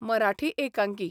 मराठी एकांकी.